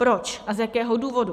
Proč a z jakého důvodu?